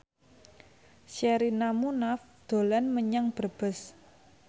Sherina Munaf dolan menyang Brebes